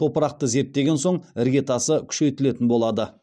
топырақты зерттеген соң іргетасы күшейтілетін болады